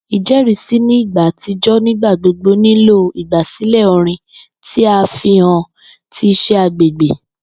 Ijẹrisi ni igba atijọ nigbagbogbo nilo igbasilẹ orin ti a fihan ti iṣẹ agbegbe.